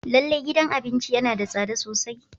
Lallai gidan abincin yana da tsada sosai.